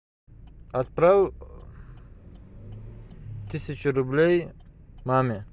отправь тысячу рублей маме